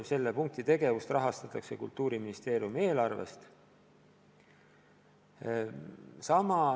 Selle punkti tegevust rahastatakse Kultuuriministeeriumi eelarvest.